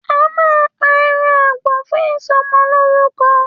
À mà pà ẹran àgbo fún isọmọ loruko